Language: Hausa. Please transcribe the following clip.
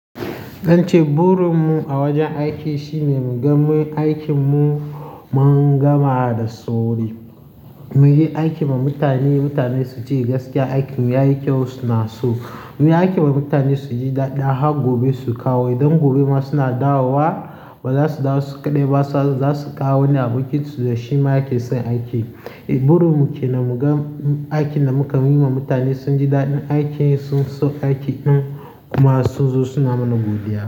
Burin mu a wajen aiki shine mu ga aikin mu mun gama da sauri. Mu yi aiki ma mutane, mutane su ji gaskiya aikin ya yi kyau suna so. Mu yi aikin wa mutane su ji daɗi har gobe su kawo. Idan gobe ma suna dawowa baza su dawo su kaɗai za su kawo wani abokinsu da shima yake son aiki. Burin mu ke nan mu ga aikin da muka yi ma mutane sun ji daɗin aikin sun so aikin ɗin kuma su zo suna mana godiya.